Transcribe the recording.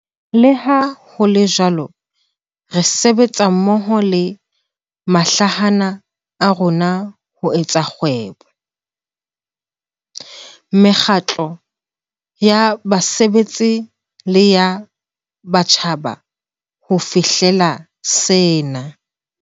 Leha ho le jwalo, re sebetsa mmoho le mahlahana a rona ho tsa kgwebo, mekgatlo ya basebetsi le ya setjhaba ho fihlela sena.